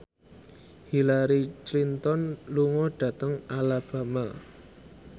Hillary Clinton lunga dhateng Alabama